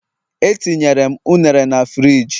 Etinyere m ụnere na friji